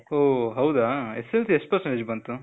ಓ, ಹೌದಾ, SSLCಲೀ ಎಷ್ಟ್ percentage ಬಂತು?